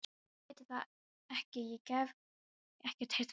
Ég veit það ekki, ég hef ekkert heyrt frá honum.